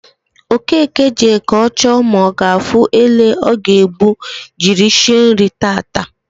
Okeke jee ka o choo ma o gaafu ele o ga egbu jiri shie nri taata